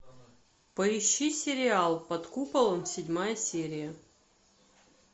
поищи сериал под куполом седьмая серия